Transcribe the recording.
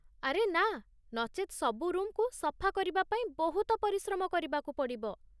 ଆରେ ନା, ନଚେତ୍ ସବୁ ରୁମ୍‌କୁ ସଫା କରିବା ପାଇଁ ବହୁତ ପରିଶ୍ରମ କରିବାକୁ ପଡ଼ିବ!